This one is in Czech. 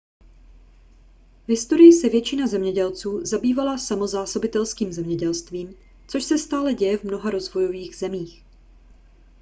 v historii se většina zemědělců zabývala samozásobitelským zemědělstvím což se stále děje v mnoha rozvojových zemích